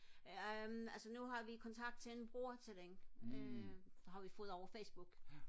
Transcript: øhm altså nu har vi kontakt til en bror til hende øh har vi fået over facebook